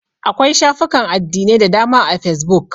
Akwai shafukan addinai da dama a fesbuk.